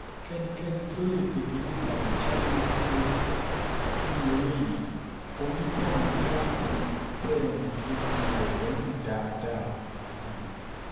kẹ́nikẹ́ni tóo lè pegedé tàbí jáwé olúborí nínú eré yìí onítọ̀hún um ní láti tẹ́ ẹnì kejì rẹ lọ́rùn dáadáa um